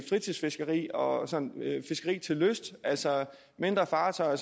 fritidsfiskeri og fiskeri til lyst altså mindre fartøjer